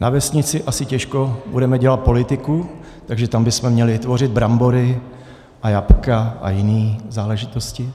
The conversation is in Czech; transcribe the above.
Na vesnici asi těžko budeme dělat politiku, takže tam bychom měli tvořit brambory a jablka a jiné záležitosti.